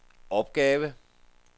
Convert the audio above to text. opgave